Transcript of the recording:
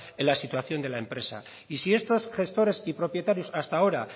en la situación de la empresa y si estos gestores y propietarios hasta ahora